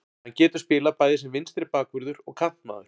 Hann getur spilað bæði sem vinstri bakvörður og kantmaður.